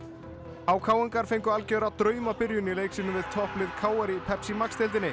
h k ingar fengu algjöra í leik sínum við topplið k r í Pepsi Max deildinni